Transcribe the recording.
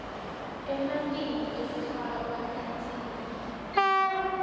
ematinyo ekufakwa ensimbi